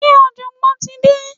se ojogbon ti de?